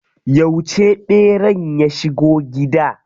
Yauce ɓeran ya shigo gida?